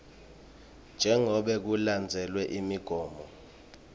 jengobe kulandzelwe imigomo